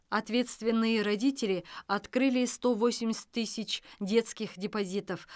ответственные родители открыли сто восемьдесят тысяч детских депозитов